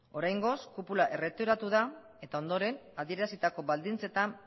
oraingoz kupula erretiratu da eta ondoren adierazitako baldintzetan